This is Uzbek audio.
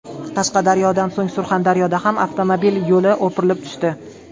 Qashqadaryodan so‘ng Surxondaryoda ham avtomobil yo‘li o‘pirilib tushdi .